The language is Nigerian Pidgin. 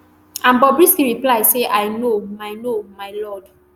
and bobrisky reply say i know my know my lord